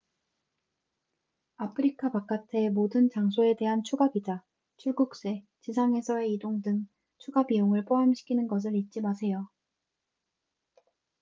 아프리카 바깥의 모든 장소에 대한 추가 비자 출국세 지상에서의 이동 등 추가 비용을 포함시키는 것을 잊지 마세요